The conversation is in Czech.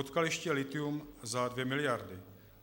Odkaliště lithium za dvě miliardy.